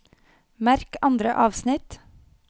Merk andre avsnitt